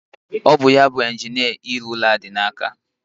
Ọ bụ ya bu injinia ịrụ ụlọ a dị n'aka.